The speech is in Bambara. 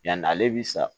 Yanni ale bi sa